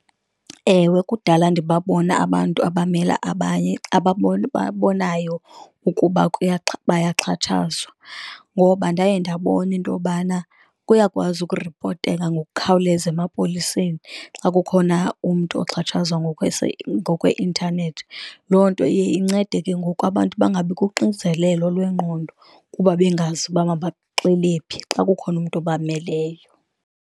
Ewe, kudala ndibabona abantu abamela abanye abababonayo ukuba bayaxhatshazwa, ngoba ndaye ndabona into yobana uyakwazi ukuripoteka ngokukhawuleza emapoliseni xa kukhona umntu oxhatshazwa ngkweintanethi. Loo nto iye incede ke ngoku abantu bangabi kuxinzelelo lwengqondo kuba bengazi uba mabaxele phi xa kukhona umntu obameleyo.